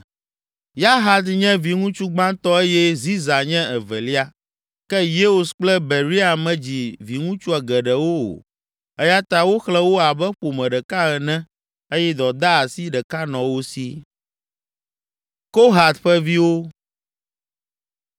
(Yahat nye viŋutsu gbãtɔ eye Ziza nye evelia. Ke Yeus kple Beria medzi viŋutsu geɖewo o eya ta woxlẽ wo abe ƒome ɖeka ene eye dɔdeasi ɖeka nɔ wo si.)